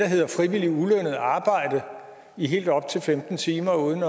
hedder frivilligt ulønnet arbejde i helt op til femten timer uden